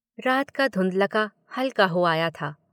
रात का धुंधलका हल्का हो आया था।